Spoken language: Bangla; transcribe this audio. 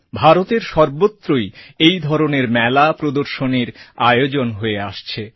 ভারতের সর্বত্রই এই ধরনের মেলা প্রদর্শনীর আয়োজন হয়ে আসছে